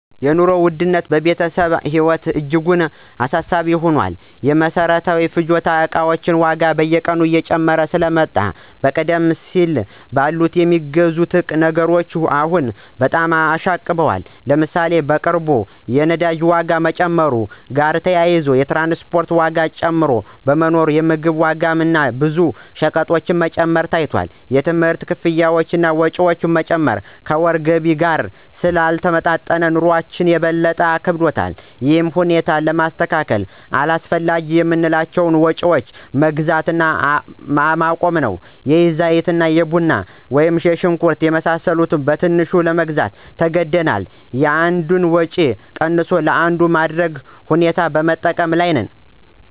የኑሮ ውድነት በቤተሰባችን ህይወት እጅጉን አሳሳቢ ሆኗል። የመሰረታዊ ፍጆታ እቃዎች ዋጋ በየቀኑ እየጨመረ ስለመጣ ከቀደም ሲል በቀላሉ የሚገዙ ነገሮች አሁን በጣም አሻቅበዋል። ለምሳሌ፣ በቅርቡ የነዳጅ ዋጋ መጨመር ጋር ተያይዞ የትራንስፖርት ዋጋ ጭማሪ በመኖሩ የምግብ ዋጋ እና ብዙ ሸቀጦች መጨመር ታይቷል። የትምህርት ክፍያ እና ወጪዎች መጨመር ከወር ገቢ ጋር ስላልተጣጣሙ፣ ኑሮአችን ይበልጥ አክብዶታል። ይህን ሁኔታ ለማስተካከል አላስፈላጊ የምንላቸውን ወጭዎች መግዛት አቁመናል። የዘይት፣ ቡና፣ ሽንኩርት የመሳሰሉ በትንሹ ለመግዛት ተገደናል። የአንዱን ወጭ ቀንሶ ለአንዱ ማድረግ ሁኔታ በመጠቀም ላይ ነን።